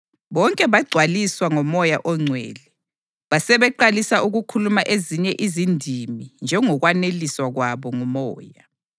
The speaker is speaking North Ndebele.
Bonke bagcwaliswa ngoMoya oNgcwele, basebeqalisa ukukhuluma ezinye izindimi njengokwaneliswa kwabo nguMoya.